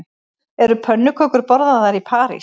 Eru pönnukökur borðaðar í París